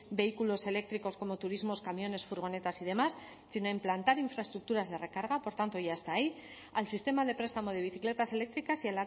vehículos eléctricos como turismos camiones furgonetas y demás sino implantar infraestructuras de recarga por tanto ya está ahí al sistema de prestamo de bicicletas eléctricas y